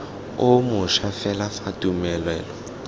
o mošwa fela fa tumelelo